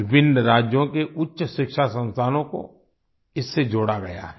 विभिन्न राज्यों के उच्च शिक्षा संस्थानों को इससे जोड़ा गया है